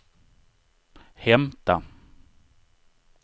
hämta